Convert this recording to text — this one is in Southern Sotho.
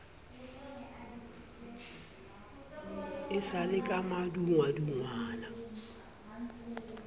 e sa le ka madungwadungwana